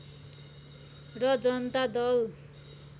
र जनता दल